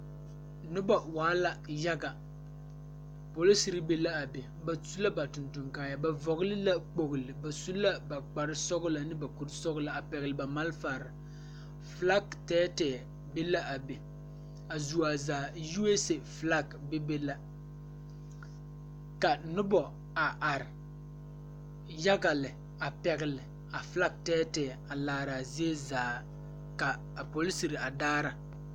Nobɔ waala yaga poliserry be laa be ba suee ba tonton kaayɛɛ ba vɔgle la kpogle ba su la ba kparesɔglɔ ne ba kuresɔglɔ a pɛgle ba malfarre flak tɛɛtɛɛ be la a be a zuo zaa usa flak bebe la ka nobɔ a are yaga lɛ a pɛgle a flak tɛɛtɛɛ a laare a zie zaa ka a poliserre a daara.